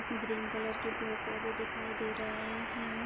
Green colour के दो पौधे दिखाई दे रहे हैं।